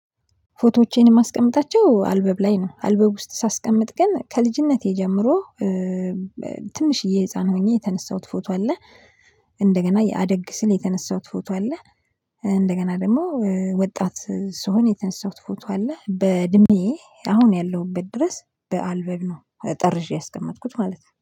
ፎቶዎቼን የማስቀምጣቸው አልበም ላይ ነው። አልበም ውስጥ ሳስቀምጥ ግን ከልጅነቴ ጀምሮ ትንሽዬ ህፃን ሆኜ የተነሳሁት ፎቶ አለ። እንደገና የአደግ ስል የተነሳሁት ፎቶ አለ። እንደገና ደግሞ ወጣት ስሆን የተነሳሁት ፎቶ አለ። በእድሜ አሁን ያለሁበት ድረስ በአልበም ነው ጠርዤ ያስቀመጥኩት ማለት ነው።